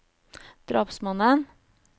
drapsmannen